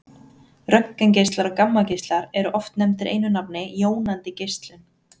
Röntgengeislar og gammageislar eru oft nefndir einu nafni jónandi geislun.